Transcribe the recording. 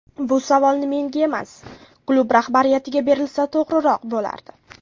Bu savolni menga emas, klub rahbariyatiga berilsa to‘g‘riroq bo‘lardi.